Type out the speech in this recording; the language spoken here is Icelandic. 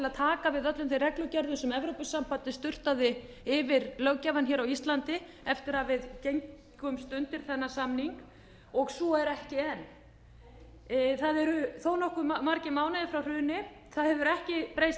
að taka við öllum þeim reglugerðum sem evrópusambandið sturtaði yfir löggjafann á íslandi eftir að við gengumst undir þennan samning og svo er ekki enn það eru þó nokkuð margir mánuðir frá hruni það hefur ekki breyst